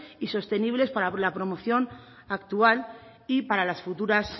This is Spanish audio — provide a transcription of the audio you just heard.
y sostenibles para la promoción actual y para las futuras